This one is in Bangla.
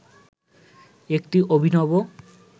একটি অভিনব